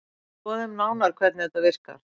Skoðum nánar hvernig þetta virkar.